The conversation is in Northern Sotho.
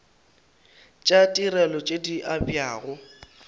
tša ditirelo tše di abjago